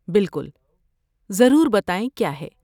بالکل، ضرور بتائیں کیا ہے۔